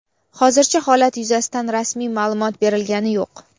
Hozircha holat yuzasidan rasmiy ma’lumot berilgani yo‘q.